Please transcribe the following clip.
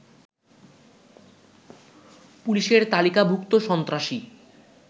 পুলিশের তালিকাভূক্ত সন্ত্রাসী